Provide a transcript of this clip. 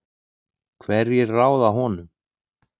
Hverjir ráða honum?